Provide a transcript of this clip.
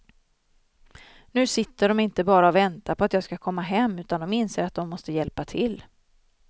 Nu sitter de inte bara och väntar på att jag ska komma hem utan de inser att de måste hjälpa till.